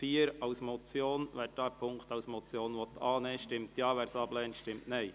Wer den Punkt 4 als Motion überweisen will stimmt Ja, wer dies ablehnt, stimmt Nein.